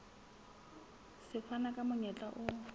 se fana ka monyetla o